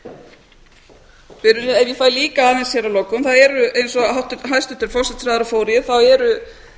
framtíðar ef ég fæ líka aðeins hér að lokum eins og hæstvirtur forsætisráðherra fór yfir þá eru